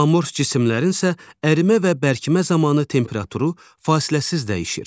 Amorf cisimlərin isə ərimə və bərkimə zamanı temperaturu fasiləsiz dəyişir.